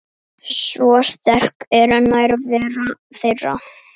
Svo sterk er nærvera þeirra.